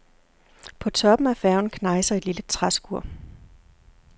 På toppen af færgen knejser et lille træskur.